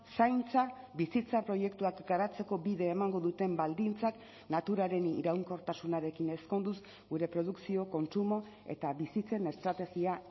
zaintza bizitza proiektuak garatzeko bide emango duten baldintzak naturaren iraunkortasunarekin ezkonduz gure produkzio kontsumo eta bizitzen estrategia